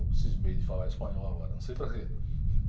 Eu cismei de falar espanhol agora, não sei para quê.